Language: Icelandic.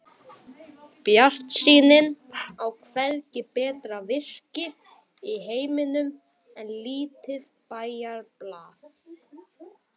Bjartsýnin á hvergi betra virki í heiminum en lítið bæjarblað.